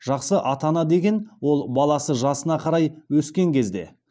жақсы ата ана деген ол баласы жасына қарай өскен кезде